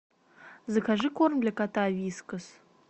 закажи корм для кота вискас